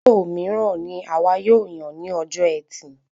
Ozo míràn ní àwa yóò yàn ní ọjọ ẹtì